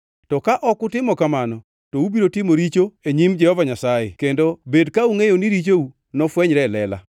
“To ka ok utimo kamano, to ubiro timo richo e nyim Jehova Nyasaye; kendo bed ka ungʼeyo ni richou nofwenyre e lela.